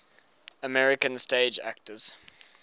american stage actors